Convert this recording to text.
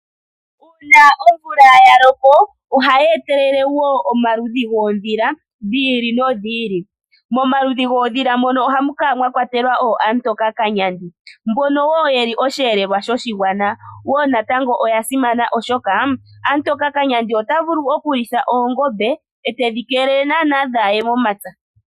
Uuna omvula ya loko ohayi etelele wo omaludhi goondhila dhi ili nodhi ili. Momaludhi goondhila mono ohamu kala mwa lwatelwa ooamutokakanyandi mbono wo yeli osheelelwa shoshigwana wo natango oya simana oshoka amutokakanyandi ota vulu okulitha oongombe etedhi keelele naanaa kaadhiye momapya.